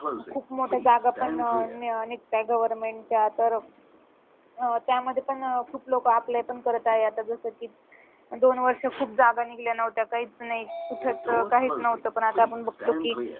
खूप मोठ्या जागा पण अं निघतायत government च्या तर अं त्यामध्ये पण अं खूप लोक apply पण करत आहेत आता जसं की दोन वर्ष खूप जागा निघल्या नव्हत्या काहीच नाही कुठच काहीच नव्हतं पण आता बघतो की